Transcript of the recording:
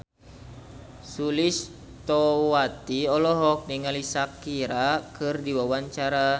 Sulistyowati olohok ningali Shakira keur diwawancara